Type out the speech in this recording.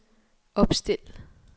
opstil